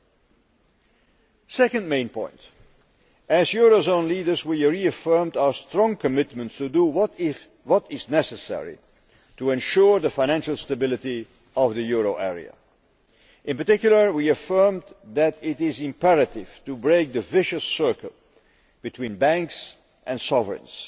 My second main point is that, as eurozone leaders, we reaffirmed our strong commitment to do what is necessary to ensure the financial stability of the euro area. In particular, we affirmed that it is imperative to break the vicious circle between banks and sovereigns,